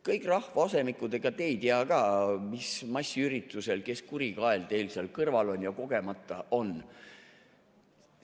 Kõik rahvaasemikud, ega te ei tea ka, mis kurikael massiüritusel teil seal kõrval kogemata on.